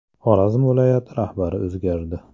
Xorazm viloyati rahbari o‘zgardi.